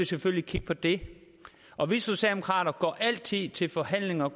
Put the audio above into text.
selvfølgelig kigge på det og vi socialdemokrater går altid ind til forhandlinger